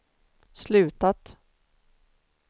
slutat